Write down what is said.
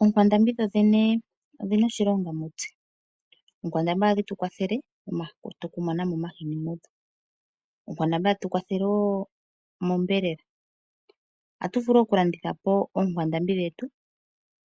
OOnkwandambi odhina oshilonga mutse. Ookwandambi ohadhi tupe omahini. Ohadhi tukwathele woo onyama. Ohatu vulu okulanditha po oonkwandambi dhetu